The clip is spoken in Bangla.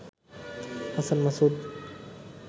হাসান মাসুদ